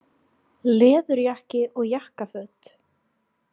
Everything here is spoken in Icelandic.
Sölvi Tryggvason: Leðurjakkar og jakkaföt?